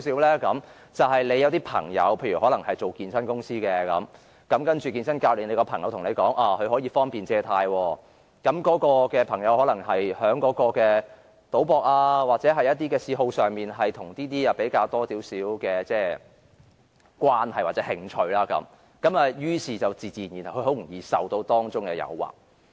例如你有朋友在健身公司工作，那位健身教練朋友對你說他有辦法可方便借貸，他可能是在賭博或嗜好上與這方面有較多的關係或興趣，於是便自然很容易受到誘惑。